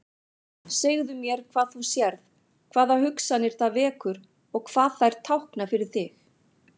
Segðu mér hvað þú sérð, hvaða hugsanir það vekur og hvað þær tákna fyrir þig.